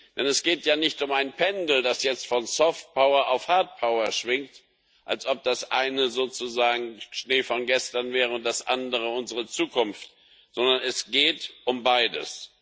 Denn es geht ja nicht um ein Pendel, das jetzt von Softpower auf Hardpower schwingt, als ob das eine sozusagen Schnee von gestern wäre und das andere unsere Zukunft, sondern es geht um beides.